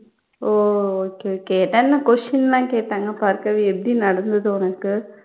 ஓ okay okay question எல்லாம் கேட்டாங்க பார்கவி எப்படி நடந்தது உனக்கு